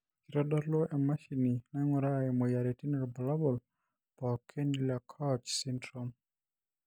keitodolu emashini naing'uraa imoyiaritin ilbulabol pookin le COACH syndrome.